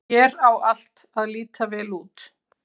Hér á allt að líta vel út.